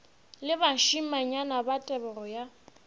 le bašimanyana ba tebego ya